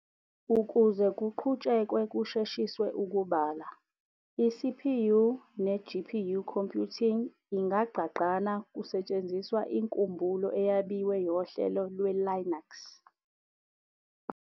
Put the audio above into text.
ukuze kuqhutshekwe kusheshiswe ukubala, i-CPU ne-GPU computing ingagqagqana kusetshenziswa inkumbulo eyabiwe yohlelo lwe-Linux.